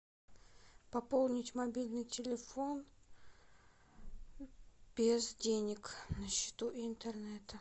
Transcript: пополнить мобильный телефон без денег на счету и интернета